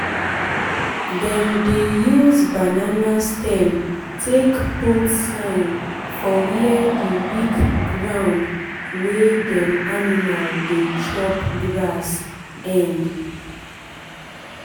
dem dey use banana stem take put sign for where the weak ground wey dem animal dey chop grass end.